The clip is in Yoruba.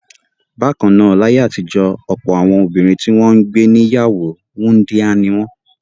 Bákan náà, láyé àtijọ́ ọ̀pọ̀ àwọn obìnrin tí wọ́n gbé ní ìyàwó wúńdíá ni wọ́n.